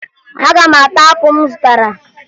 Aga m ata apụ m zụtara